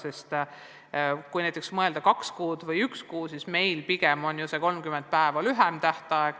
Kui näiteks mõelda dokumendi väljastamise tähtajale, kas kaks kuud või üks kuu, siis meie senine 30 päeva on ju lühem tähtaeg.